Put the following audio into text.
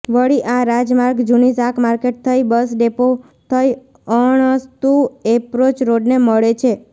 વળી આ રાજમાર્ગ જૂની શાકમાર્કેટ થઇ બસ ડેપો થઇ અણસ્તુ એપ્રોચ રોડને મળે છે